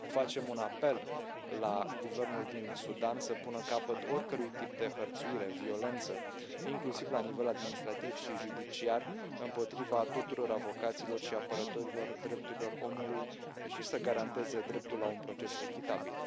Facem un apel la guvernul din Sudan să pună capăt oricărui tip de hărțuire, violență, inclusiv la nivel administrativ și judiciar, împotriva tuturor avocaților și apărătorilor drepturilor omului și să garanteze dreptul la un proces echitabil.